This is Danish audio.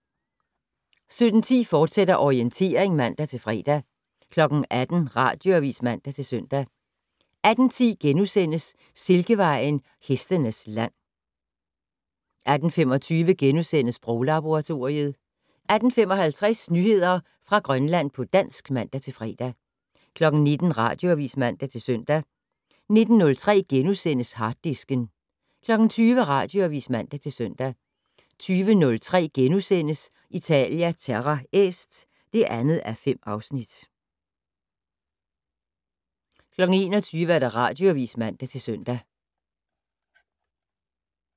17:10: Orientering, fortsat (man-fre) 18:00: Radioavis (man-søn) 18:10: Silkevejen: Hestenes land * 18:25: Sproglaboratoriet * 18:55: Nyheder fra Grønland på dansk (man-fre) 19:00: Radioavis (man-søn) 19:03: Harddisken * 20:00: Radioavis (man-søn) 20:03: Italia Terra Est (2:5)* 21:00: Radioavis (man-søn)